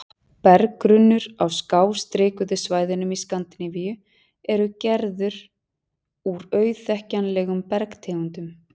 Berggrunnur á skástrikuðu svæðunum í Skandinavíu er gerður úr auðþekkjanlegum bergtegundum.